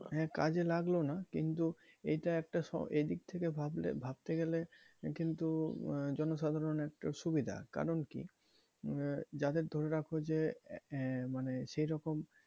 হ্যাঁ কাজে লাগলো না কিন্তু এটা একটা, এদিক থেকে ভাবলে ভাবতে গেলে কিন্তু জনসাধারন একটা সুবিধা কারন কি আহ যাদের ধরে রাখো যে আহ মানে সেরকম,